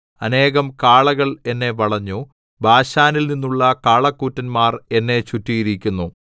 അനേകം കാളകൾ എന്നെ വളഞ്ഞു ബാശാനിൽ നിന്നുള്ള കാളകൂറ്റന്മാർ എന്നെ ചുറ്റിയിരിക്കുന്നു